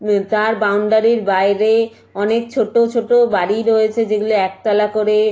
উম তার বাউন্ডারি -র বাইরে অনেক ছোট ছোট বাড়ি রয়েছে যেগুলো একতলা করে।